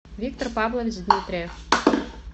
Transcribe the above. виктор павлович дмитриев